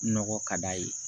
Nɔgɔ ka d'a ye